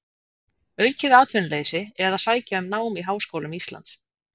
Aukið atvinnuleysi eða sækja um nám í háskólum Íslands?